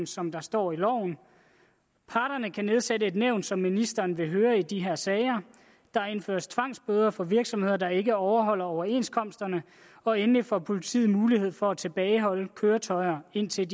som der står i loven parterne kan nedsætte et nævn som ministeren vil høre i de her sager der indføres tvangsbøder for virksomheder der ikke overholder overenskomsterne og endelig får politiet mulighed for at tilbageholde køretøjer indtil